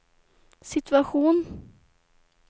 situation